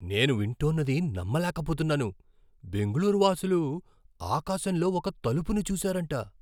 నేను వింటోన్నది నమ్మలేకపోతున్నాను! బెంగళూరు వాసులు ఆకాశంలో ఒక తలుపును చూశారంట!